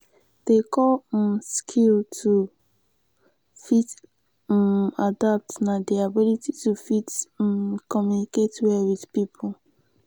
di core um skill to fit um adapt na di ability to fit communicate um well with pipo